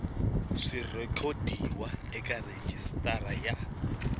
swi rhekhodiwa eka rejistara ya